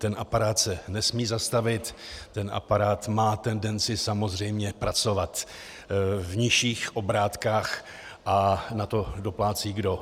Ten aparát se nesmí zastavit, ten aparát má tendenci samozřejmě pracovat v nižších obrátkách - a na to doplácí kdo?